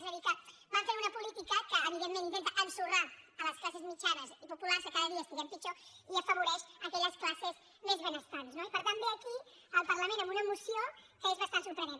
és a dir que van fent una política que evidentment intenta ensorrar les classes mitjanes i populars que cada estiguem pitjor i afavo·reix aquelles classes més benestants no i per tant ve aquí al parlament amb una moció que és bastant sorprenent